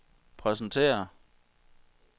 præsentere